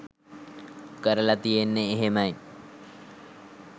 කරලා තියන්නේ එහෙමයි.